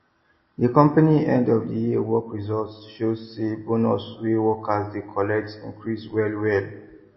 the company end of the year work result show say bonus wey workers dey collect increase well well